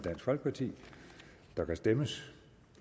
der kan stemmes